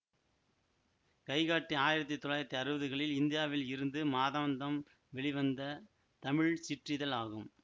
கைகாட்டி ஆயிரத்தி தொள்ளாயிரத்தி அறுவதுகளில் இந்தியாவில் இருந்து மாதாந்தம் வெளிவந்த தமிழ் சிற்றிதழ் ஆகும்